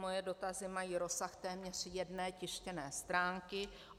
Mé dotazy mají rozsah téměř jedné tištěné stránky.